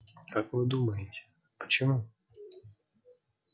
как вы думаете почему